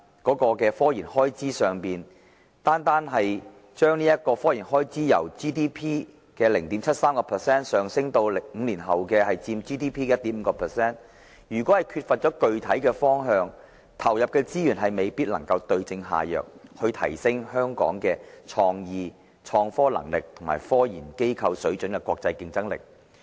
這也反映出，如果單單將科研開支由佔 GDP 的 0.73% 上升到5年後的 1.5%， 但卻缺乏具體的方向，投入的資源未必能夠對症下藥，提升香港的"創意"、"創科能力"和"科研機構水準"的國際競爭力。